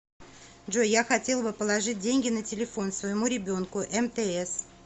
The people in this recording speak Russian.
джой я хотела бы положить деньги на телефон своему ребенку мтс